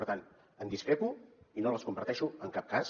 per tant en discrepo i no les comparteixo en cap cas